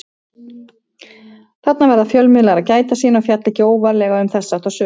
Þarna verða fjölmiðlar að gæta sín og fjalla ekki óvarlega um þess háttar sögur.